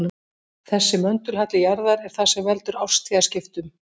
Þessi möndulhalli jarðar er það sem veldur árstíðaskiptum.